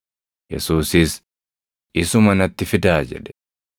Yesuusis, “Isuma natti fidaa” jedhe.